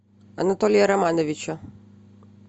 анатолия романовича